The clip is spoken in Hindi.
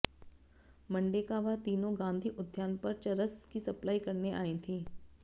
मंडे का वह तीनों गांधी उद्यान पर चरस की सप्लाई करने आई थी